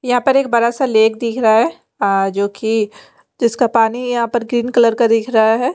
यहाँ पर एक बड़ा सा लेक दिख रहा है अअ जो की जिसका पानी यहाँ पर ग्रीन कलर का दिख रहा है।